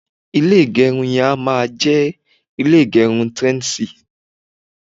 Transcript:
ilé igerun yen a máa je ile igerun trendzy